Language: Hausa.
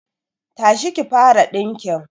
Tashi ki fara dinkin